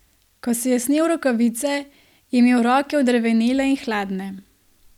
Ko si je snel rokavice, je imel roke odrevenele in hladne.